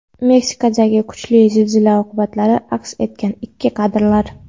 Meksikadagi kuchli zilzila oqibatlari aks etgan ilk kadrlar.